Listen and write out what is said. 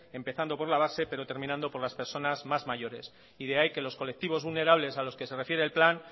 empezando por la base pero terminando con las personas más mayores y de ahí que los colectivos vulnerables a los que se refiere el plan